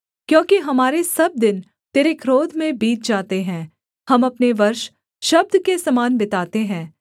क्योंकि हमारे सब दिन तेरे क्रोध में बीत जाते हैं हम अपने वर्ष शब्द के समान बिताते हैं